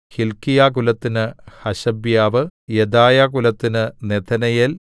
ഹില്ക്കീയാകുലത്തിന് ഹശബ്യാവ് യെദായാകുലത്തിന് നെഥനയേൽ